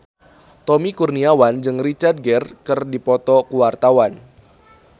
Tommy Kurniawan jeung Richard Gere keur dipoto ku wartawan